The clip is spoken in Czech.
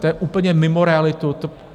To je úplně mimo realitu.